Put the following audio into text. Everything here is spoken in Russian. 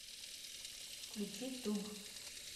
включи туб